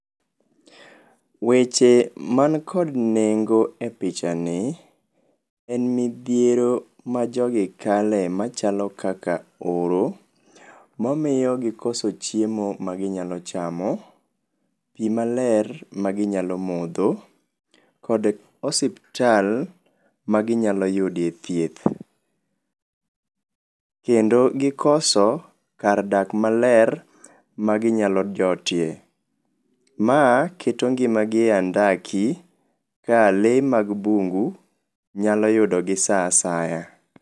Weche mankod nengo e pichani, en midhiero ma jogi kale machalo kaka oro, momio gikoso chiemo ma ginyalo chamo, pii maler maginyalo modho, kod osiptal maginyalo yudie thieth. Kendo gikoso kar dak maler maginyalo jotie. Maa keto ngimagi e andaki ka lee mag bungu nyalo yudogi saa asaya.